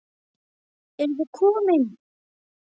Eruð þið komin!